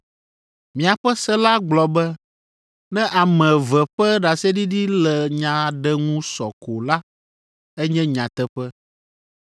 Miaƒe se la gblɔ be, ne ame eve ƒe ɖaseɖiɖi le nya aɖe ŋu sɔ ko la, enye nyateƒe.